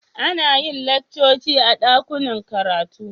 Ana yin laccoci a dakunan karatu.